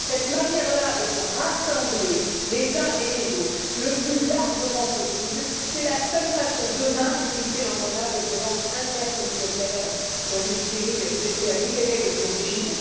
Cette manière là de rassembler les uns et les autres le plus largement possible, c'est la seule permettant d'éviter demain l'engrenage de violences intercommunautaires dans une Syrie, j'espère, libérée de son régime.